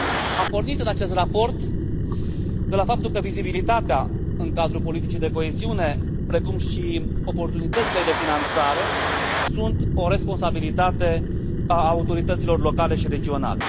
Am pornit în acest raport de la faptul că vizibilitatea în cadrul politicii de coeziune, precum și oportunitățile de finanțare sunt o responsabilitate a autorităților locale și regionale.